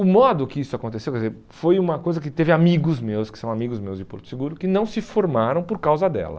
O modo que isso aconteceu, quer dizer, foi uma coisa que teve amigos meus, que são amigos meus de Porto Seguro, que não se formaram por causa dela.